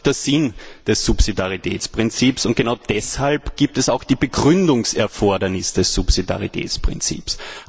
Genau das ist auch der Sinn des Subsidiaritätsprinzips, und genau deshalb gibt es auch das Begründungserfordernis des Subsidiaritätsprinzips.